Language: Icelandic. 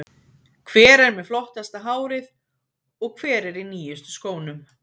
Hver er með flottasta hárið og hver er í nýjustu skónum?